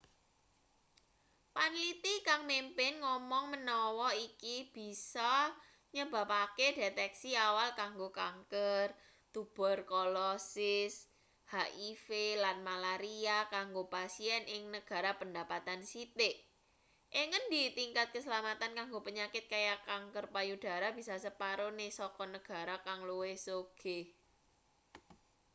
panliti kang mimpin ngomong menawa iki bisa nyebabake deteksi awal kanggo kanker tuberkulosis hiv lan malaria kanggo pasien ing negara pendapatan sithik ing ngendi tingkat kaslametan kanggo penyakit kaya kanker payudara bisa separone saka negara kang luwih sugih